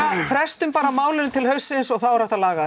frestum bara málinu til haustsins og þá er hægt að laga